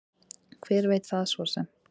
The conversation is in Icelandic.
Hver veit það svo sem.